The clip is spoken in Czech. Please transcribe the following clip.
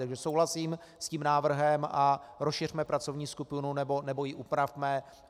Takže souhlasím s tím návrhem a rozšiřme pracovní skupinu nebo ji upravme.